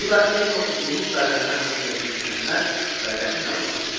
Bu da en və uzunluq dairələri haqqındakı mükəmməl və qəti məlumat idi.